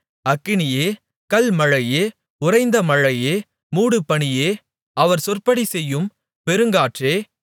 அக்கினியே கல்மழையே உறைந்த மழையே மூடுபனியே அவர் சொற்படி செய்யும் பெருங்காற்றே